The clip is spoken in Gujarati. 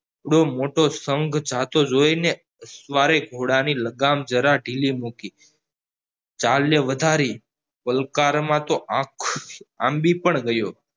એવડો મોટો સંઘ જતો જોઈને સવારે ઘોડા ની લગામ જરા ધીરી મૂકી ચાલને વધારી ગલકારે માં તો આંબી પણ ગયો